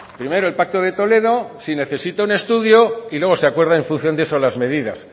primero el pacto de toledo si necesito un estudio y luego se acuerda en función de eso las medidas